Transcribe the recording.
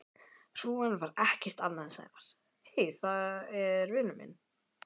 Hrúgan var ekkert annað en Sævar.